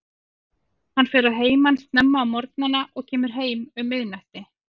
Hann fer að heiman snemma á morgnana og kemur heim um miðnætti.